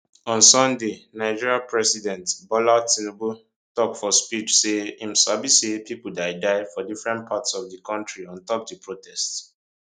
on sunday nigeria president bola tinubu tok for speech say im sabi say pipo die die for different parts of di kontri on top di protests